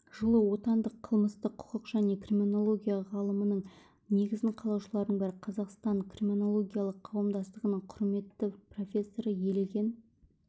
жылы отандық қылмыстық құқық және криминология ғылымының негізін қалаушылардың бірі қазақстан криминологиялық қауымдастығының құрметті профессоры елеген